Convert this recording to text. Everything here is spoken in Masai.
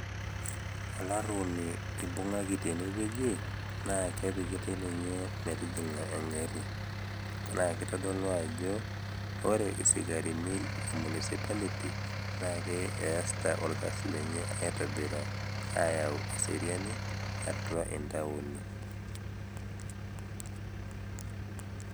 Olaruoni eibungaki tene wueji, naake epikitai ninye metijing'a atua engari. Naake eitadolu ajo ore isikarini le municipality naake ietodolu ajo easita olkasi lenye aitobiraa ayau eseriani atua intaoni.